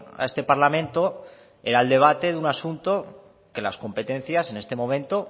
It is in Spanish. a este parlamento era el debate de un asunto de las competencias en este momento